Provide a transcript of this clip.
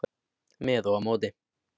Með og á móti.